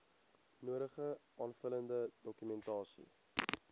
nodige aanvullende dokumentasie